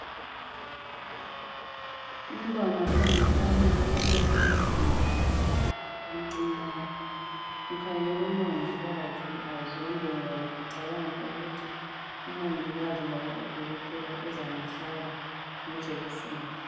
Umntwana ongumfana olenwele ezinkulu ngapha emncinyane. Ukhangela umongikazi azonde ngoba ucabanga ukuthi umongikazi loba udokotela uzamhlaba ngejekiseni.